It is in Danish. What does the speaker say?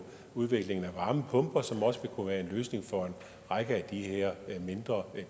udviklingen af varmepumper som også kunne være en løsning for en række af de her mindre